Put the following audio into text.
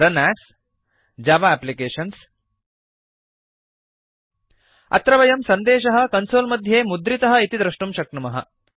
रुन् as Java applications अत्र वयं सन्देशः कन्सोल् मध्ये मुद्रितः इति दृष्टुं शक्नुमः